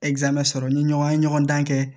sɔrɔ ni ɲɔgɔn ye ɲɔgɔn dan kɛ